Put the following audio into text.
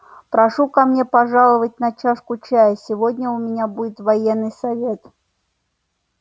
прошу ко мне пожаловать на чашку чаю сегодня у меня будет военный совет